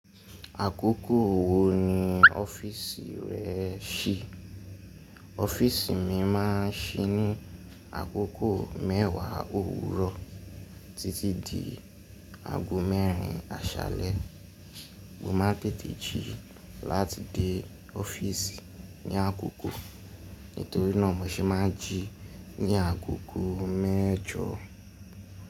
Àkókò wo ni ọ́fíìsì rẹ ṣí? Ọ́fíìsì mi má a ń ṣí ní àkókò mẹ́wàá òwúrọ̀ títí di ago mẹ́rin àṣálẹ́. Mo máa ń tete jí láti dé ọ́fíìsì ní àkókò, nítorí náà mo ṣe máa ń jí ní àgogo mẹ́jọ.